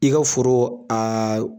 I ka foro .